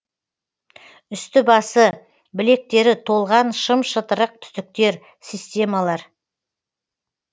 үсті басы білектері толған шым шытырық түтіктер системалар